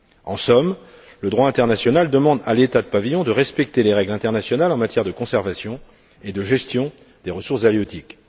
En somme, le droit international demande à l'État du pavillon de respecter les règles internationales en matière de conservation et de gestion des ressources halieutiques.